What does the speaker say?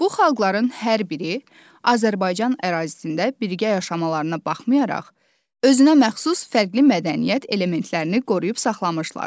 Bu xalqların hər biri Azərbaycan ərazisində birgə yaşamalarına baxmayaraq, özünə məxsus fərqli mədəniyyət elementlərini qoruyub saxlamışlar.